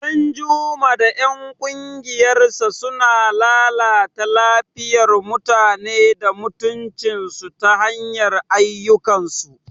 Danjuma da ‘yan kungiyarsa suna lalata lafiyar mutane da mutuncinsu ta hanyar ayyukansu.